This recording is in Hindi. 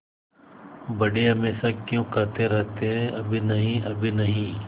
बड़े हमेशा क्यों कहते रहते हैं अभी नहीं अभी नहीं